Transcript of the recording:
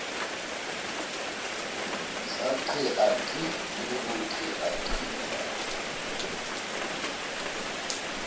sa qeaqee le ho qeaqea